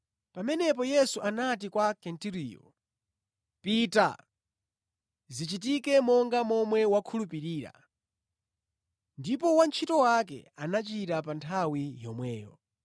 Pamenepo Yesu anati kwa Kenturiyo, “Pita! Zichitike monga momwe wakhulupirira.” Ndipo wantchito wake anachira pa nthawi yomweyo.